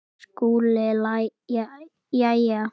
SKÚLI: Jæja!